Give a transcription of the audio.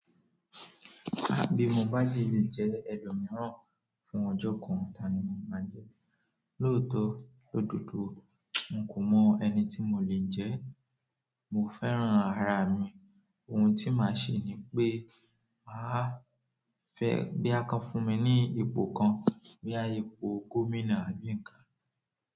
Bi mo bá de le jé ẹlòmíràn fún ọjọ kàn tani máa je? Lootọ l'ododo mi kò mo eniti mo le jẹ. Mo fẹ́ran ara mi, ohun tí màá ṣe ni pé máa fẹ́ bóyá ko fún mi ní ipò kan, bóyá ipò gómìnà àbí nǹkan.